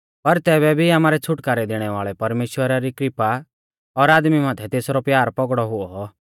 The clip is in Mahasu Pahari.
पर तैबै भी आमारै छ़ुटकारौ दैणै वाल़ै परमेश्‍वरा री कृपा और आदमी माथै तेसरौ प्यार पौगड़ौ हुऔ